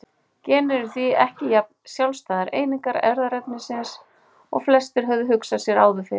Genin eru því ekki jafn sjálfstæðar einingar erfðaefnisins og flestir höfðu hugsað sér áður fyrr.